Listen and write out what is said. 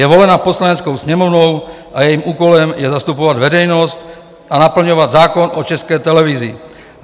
Je volena Poslaneckou sněmovnou a jejím úkolem je zastupovat veřejnost a naplňovat zákon o České televizi.